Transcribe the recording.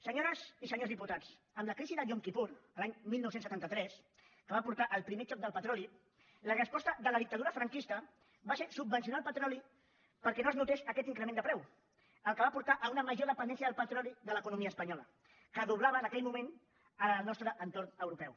senyores i senyors diputats amb la crisi del yom kippur l’any dinou setanta tres que va portar al primer xoc del petroli la resposta de la dictadura franquista va ser subvencionar el petroli perquè no es notés aquest increment de preu cosa que va portar a una major dependència del petroli de l’economia espanyola que doblava en aquell moment la del nostre entorn europeu